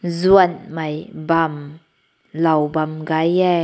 zaün mei bam loa bam gai yeh.